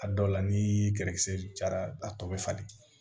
A dɔw la ni kɛlɛkisɛ jara a tɔ bɛ falen